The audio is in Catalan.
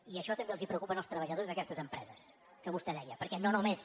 i això també els preocupa als treballadors d’aquestes empreses que vostè deia perquè no només